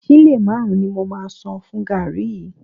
Sílè márùn-ún ni mo máa san fún gààrí yìí